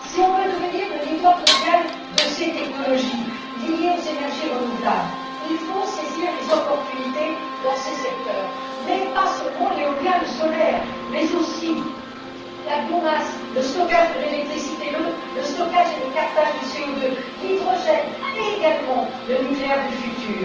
Pour devenir le leader mondial de ces technologies liées aux énergies renouvelables, il faut saisir les opportunités dans ces secteurs, non seulement dans l'éolien ou le solaire, mais aussi dans la biomasse, le stockage de l'électricité, le stockage et le captage du CO2, l'hydrogène et, enfin, le nucléaire du futur.